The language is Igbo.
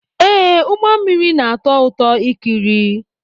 Ee, ụgbọ mmiri na-atọ ụtọ ikiri!